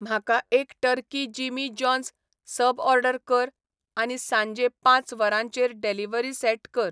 म्हाका एक turkey Jimmy John's sub order कर आनी सांजे पांच वरांचेर डॅल्हीवरी सॅट कर